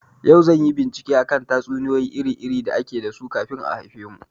Yau zanyi bincike akan tatsuniyoyi iri iri da ake dasu kamin a haifemu